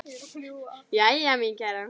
Jæja, mín kæra.